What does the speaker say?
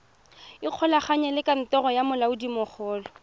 ikgolaganye le kantoro ya molaodimogolo